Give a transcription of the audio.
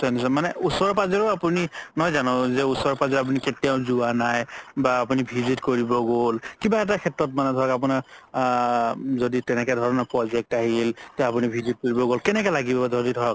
মানে ওচৰে পাজৰেও আপুনি নহয় জানো ওচৰে পাজৰেও আপুনি কেতিয়াও যোৱা নাই বা অপুনি visit কৰিব গ'ল কিবা শেত্ৰ ধৰা আপুনাৰ আ যদি তেনেকুৱা ধৰণৰ project আহিল তে আপুনি visit কৰিব গ'ল কেনেকা লাগিব যদি ধৰক